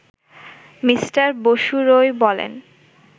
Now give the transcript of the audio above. mister Basu Roy বলেন